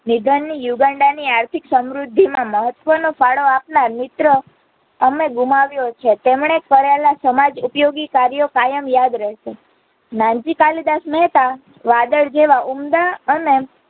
નિદાની યુગાંડાની આર્થિક સમૃદ્ધિમાં મહત્વનો ફાડો આપનાર મિત્ર અમે ગુમાવ્યો છે, તેમણે કરેલા સમજઉપયોગી કર્યો કાયમ યાદ રહસે, નાનજી કાલિદાસ મેહતા વાદળ જેવા ઉમદા અને